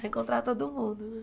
Vai encontrar todo mundo, né?